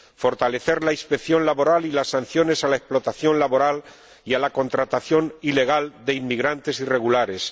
fortalecer la inspección laboral y las sanciones a la explotación laboral y a la contratación ilegal de inmigrantes irregulares